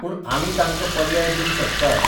पूण आमी तांकां पर्याय दिवंक शकतात.